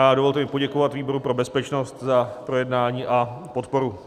A dovolte mi poděkovat výboru pro bezpečnost za projednání a podporu.